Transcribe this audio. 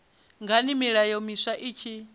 ngani milayo miswa i tshi